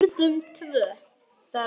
Við urðum tvö.